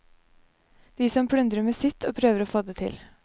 De som plundrer med sitt og prøver å få det til.